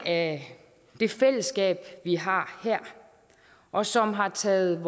af det fællesskab vi har her og som har taget